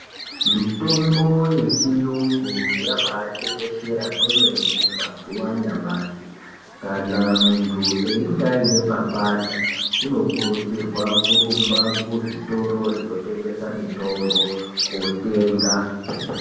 Mitombo yechiyungu yambai tekeshera kwemene maziva anyamashi akana munhu ekange aine papata unokurudzirwa kurumba kuzvitoro zvinotengesa mutombo kotenga.